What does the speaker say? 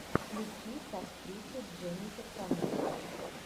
включи с актрисой дженнифер коннелли